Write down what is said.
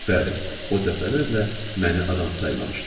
Bəli, o dəfələrlə məni adam saymamışdı.